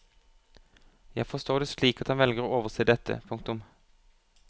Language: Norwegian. Jeg forstår det slik at han velger å overse dette. punktum